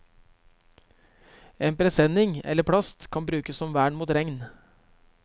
En presenning eller plast kan brukes som vern mot regn.